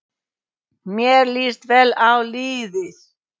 Mér líst vel á liðið.